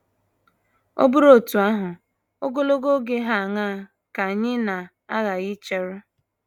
Ọ bụrụ otú ahụ, ogologo oge hà aṅaa ka anyị na - aghaghị icheru?